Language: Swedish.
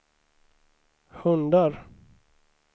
hundar